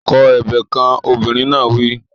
Kọ ebè kan! Obìnrin náà wí.